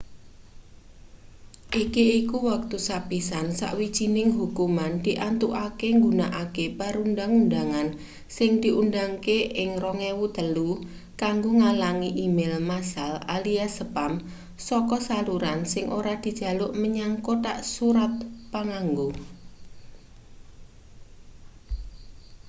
iki iku wektu sepisan sawijining hukuman diantukake nggunakake perundhang-undhangan sing diundhangke ing 2003 kanggo ngalangi e-mail massal alias spam saka saluran sing ora dijaluk menyang kothak surat panganggo